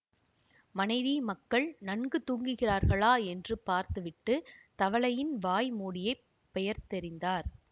மனைவி மக்கள் நன்கு தூங்குகிறார்களா என்று பார்த்து விட்டு தவலையின் வாய் மூடியைப் பெயர்த்தெறிந்தார்